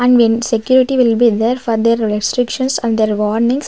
and win security will be there for their restrictions and their warnings.